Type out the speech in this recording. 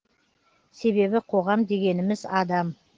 себебі қоғам дегеніміз адам